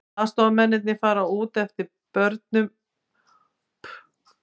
Aðstoðarmennirnir fara út eftir börum og loka að sér á meðan þeir koma líkinu fyrir.